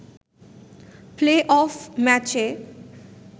play-off ম্যাচে